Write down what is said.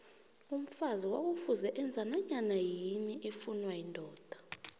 umfazi kwakufuze enze nanyanayini efuna yindoda